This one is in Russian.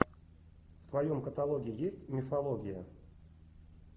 в твоем каталоге есть мифология